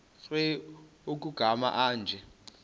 nkr kumagama anje